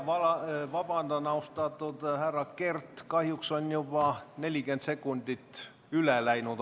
Ma väga vabandan, austatud härra Kert, aga kahjuks olete juba 40 sekundit ajast üle läinud.